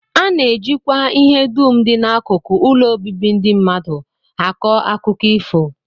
A na-ejikwa ihe dum dị n'akụkụ ụlọ obibi ndị mmadụ akọ akụkọ ifo